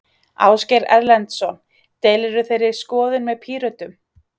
Ásgeir Erlendsson: Deilirðu þeirri skoðun með Pírötum?